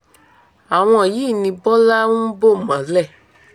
àwọn yìí ni bọ́lá ń bò mọ́lẹ̀